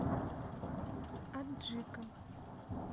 аджика